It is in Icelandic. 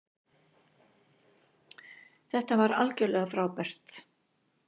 Þetta var gjörsamlega frábært.